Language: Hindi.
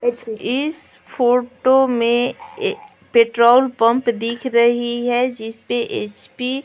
इस फोटो में पेट्रोल पंप दिख रही है जिस पे ह_प --